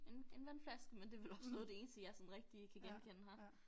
En en vandflaske men det vel også noget af det eneste jeg sådan rigtig kan genkende her